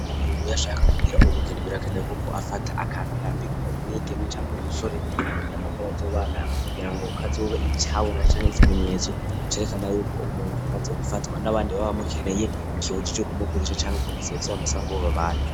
Muuyashaka kubwira ubugini birakenewe, kuko afata akantu yambika umuyigeme canke umusoregomba ko bazobana mu kugira ngo kazobe icabona canke ikimenyetso cerekana yuko umuntu yamaze gufatwa n'abandi babamukeneye kibuji ic' uku muvugisha canke kumusarizwamusanga ububabane.